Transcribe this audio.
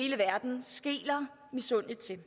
sige